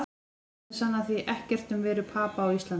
Örnefni sanna því ekkert um veru Papa á Íslandi.